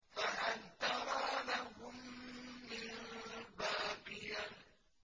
فَهَلْ تَرَىٰ لَهُم مِّن بَاقِيَةٍ